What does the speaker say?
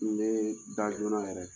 Ne da joona yɛrɛ